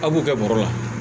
A b'u kɛ bɔrɔ la